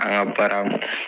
An ŋa baara